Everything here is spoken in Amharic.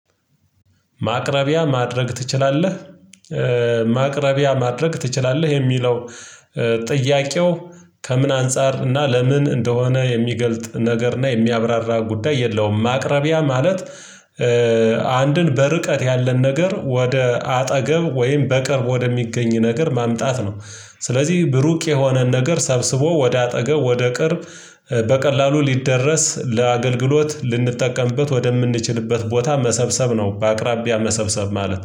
ማቅረቢያ ማድረግ ትችላለህ ማቅረቢያ ማድረግ ትችላለህ የሚለው ጥያቄው ከምን አንፃር እና ለምን እንደሆነ የሚገልጥ ነገር እና የሚያብራራ ጉዳይ የለውም። ማቅረቢያ ማለት አንድን በርቀት ያለን ነገር ወደ አጠገብ ወይም በቅርብ ወደሚገኝ ነገር ማምጣት ነው። ስለዚህ ብሩክ የሆነን ነገር ሰብስቦ ወደ አጠገብ ወደ ቅርብ በቀላሉ ሊደረስ ለአገልግሎት ልንጠቀምበት ወደምንችልበት ቦታ መሰብሰብ ነው። በአቅራቢያ መሰብሰብ ማለት